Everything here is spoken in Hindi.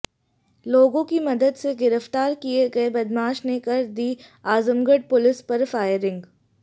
लोगों की मदद से गिरफ्तार किये गए बदमाश ने कर दी आजमगढ़ पुलिस पर फायरिंग